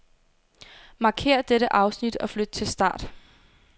Markér dette afsnit og flyt til start.